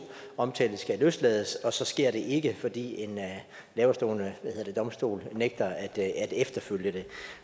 omtalte skal løslades men så sker det ikke fordi en laverestående domstol nægter at efterleve